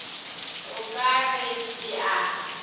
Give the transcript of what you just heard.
o ka re ke a